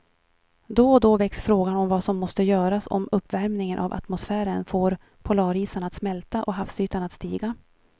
Då och då väcks frågan om vad som måste göras om uppvärmingen av atmosfären får polarisarna att smälta och havsytan att stiga.